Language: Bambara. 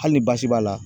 Hali ni baasi b'a la